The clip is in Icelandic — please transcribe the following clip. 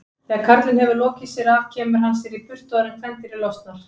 Þegar karlinn hefur lokið sér af kemur hann sér í burtu áður en kvendýrið losnar.